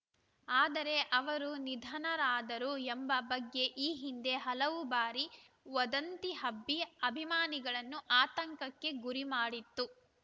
ಆದರೆ ಅವರು ನಿಧನರಾದರು ಎಂಬ ಬಗ್ಗೆ ಈ ಹಿಂದೆ ಹಲವು ಬಾರಿ ವದಂತಿ ಹಬ್ಬಿ ಅಭಿಮಾನಿಗಳನ್ನು ಆತಂಕಕ್ಕೆ ಗುರಿ ಮಾಡಿತ್ತು